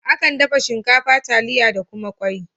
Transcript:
Akan dafa su shinkafa, taliya ta kuma kwai